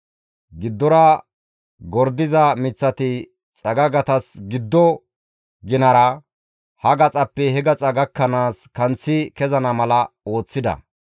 Giddora gordiza miththati xagagatas giddo ginara, ha gaxappe he gaxa gakkanaas kanththi kezana mala ooththida.